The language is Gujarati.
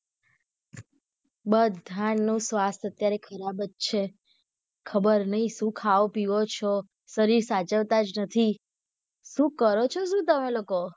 બધાનું સ્વાસ્થ્ય અત્યારે ખરાબજ છે ખબર નહિ શુ ખાઓ પીઓ છો શરીર સાચવતા જ નથી શુ કરો છો શુ તમે લોકો